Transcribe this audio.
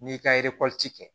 N'i ka kɛ